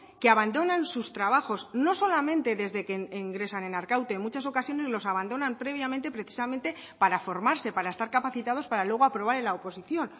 que abandonan sus trabajos no solamente desde que ingresan en arkaute en muchas ocasiones los abandonan previamente precisamente para formarse para estar capacitados para luego aprobar en la oposición